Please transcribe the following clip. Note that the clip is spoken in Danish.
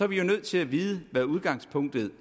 vi jo nødt til at vide hvad udgangspunktet